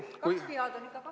Kaks pead on ikka kaks pead.